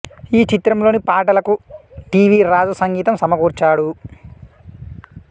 ఈ చిత్రంలోని పాటలకు టి వి రాజు సంగీతం సమకూర్చాడు